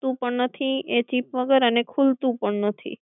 locker તૂટતું પણ નથી એ chip વગર અને ખુલતું પણ નથી